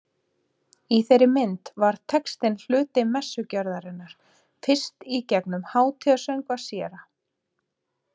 Í þeirri mynd varð textinn hluti messugjörðarinnar, fyrst í gegnum Hátíðasöngva séra